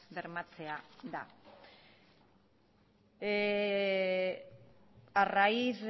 bermatzea da a raíz